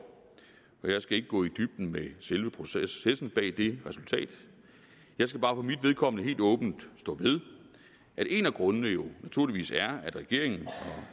og jeg skal ikke gå i dybden med selve processen bag det resultat jeg skal bare for mit vedkommende helt åbent stå ved at en af grundene jo naturligvis er at regeringen og